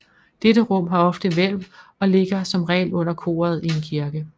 Dette rum har ofte hvælv og ligger som regel under koret i en kirke